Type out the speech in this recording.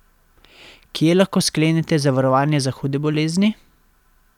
Kje lahko sklenete zavarovanje za hude bolezni?